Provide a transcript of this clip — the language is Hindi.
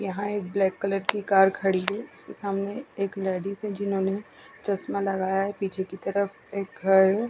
यहाँ एक ब्लैक कलर की कार खड़ी है इसके सामने एल लेडिज है जिन्होंने चस्मा लगाया है पीछे की तरफ एक घ--